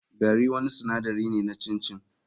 Gari wani sinadari ne na chin chin.